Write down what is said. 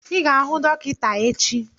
I ga-ahụ dọkịta echi!